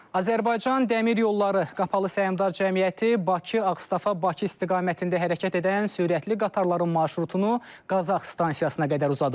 Azərbaycan Dəmir Yolları Qapalı Səhmdar Cəmiyyəti Bakı-Ağstafa-Bakı istiqamətində hərəkət edən sürətli qatarların marşrutunu Qazax stansiyasına qədər uzadıb.